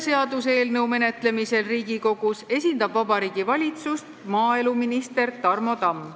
Seaduseelnõu menetlemisel Riigikogus esindab Vabariigi Valitsust maaeluminister Tarmo Tamm.